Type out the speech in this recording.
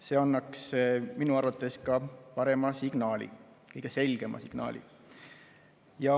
See annaks minu arvates ka parema signaali, kõige selgema signaali.